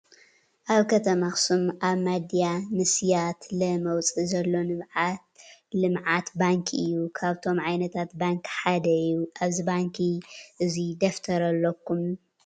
ኣብ ከተማ ኣክሱም ኣብ ማድያ ንስያትለ መውፅኢ ዘሎ ልምዓት ባንኪ እዩ ካብቶም ዓይነታት ባንኪ ሓደ እዩ። ኣብዚ ባንኪ እዙይ ደፍተር ኣለኩም ?